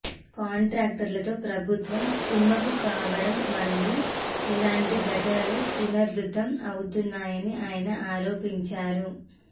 కాంట్రాక్టర్లతో ప్రభుత్వం కుమ్మక్కు కావడం వల్లనే ఇలాంటి ఘటనలు పునరావృతం అవుతున్నాయని ఆయన ఆరోపించారు